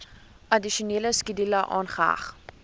addisionele skedule aangeheg